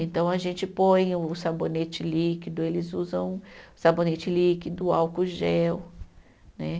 Então a gente põe o sabonete líquido, eles usam sabonete líquido, álcool gel, né?